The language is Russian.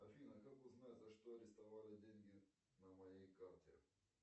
афина как узнать за что арестовали деньги на моей карте